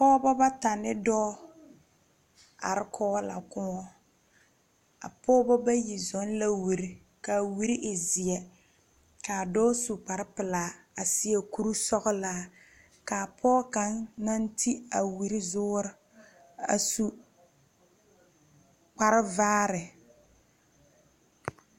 pogeba bata ne doɔ are kɔge la koɔ. A pogeba bayi zɔŋ la wure. Ka a wure e zie ka a doɔ su kpare pulaa a seɛ kur sɔglaa. Kaa poge kang na te a wure zuure a su kpar vaare.